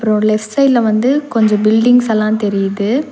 ஒரு லெப்ட் சைடுல வந்து கொஞ்ச பில்டிங்ஸ் எல்லா தெரியிது.